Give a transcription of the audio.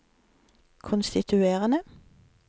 konstituerende